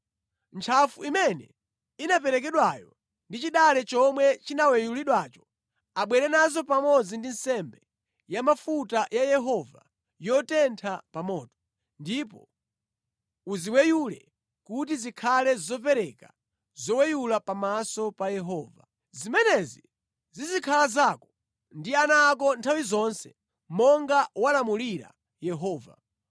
Ntchafu imene inaperekedwayo ndi chidale chomwe chinaweyulidwacho abwere nazo pamodzi ndi nsembe ya mafuta ya Yehova yotentha pa moto, ndipo uziweyule kuti zikhale zopereka zoweyula pamaso pa Yehova. Zimenezi zizikhala zako ndi ana ako nthawi zonse monga walamulira Yehova.”